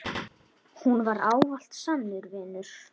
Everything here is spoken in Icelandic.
Hún var ávallt sannur vinur.